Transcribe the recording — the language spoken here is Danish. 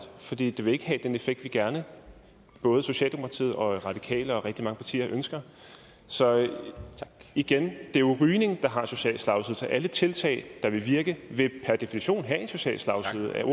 fordi det vil ikke have den effekt vi gerne både socialdemokratiet og radikale og rigtig mange andre partier ønsker så igen det er jo rygning der har en social slagside så alle tiltag der vil virke vil per definition have en social slagside er